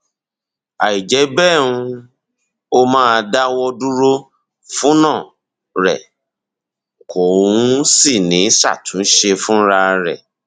àìjẹ bẹẹ um ó máa dáwọ dúró fúna rẹ kò um sì ní ṣàtúnṣe um fúnra rẹ